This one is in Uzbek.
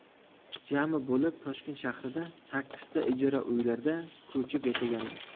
Jami bo‘lib Toshkent shahrida sakkizta ijara uylarda ko‘chib yashaganmiz.